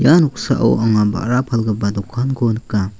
ia noksao anga ba·ra palgipa dokanko nika.